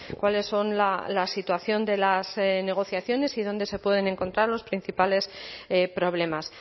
cuáles son la situación de las negociaciones y dónde se pueden encontrar los principales problemas